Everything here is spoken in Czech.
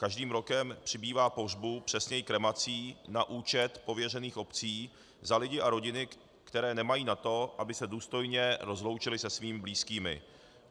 Každým rokem přibývá pohřbů, přesněji kremací na účet pověřených obcí za lidi a rodiny, které nemají na to, aby se důstojně rozloučili se svými blízkými.